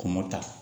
Kɔn mɔ ta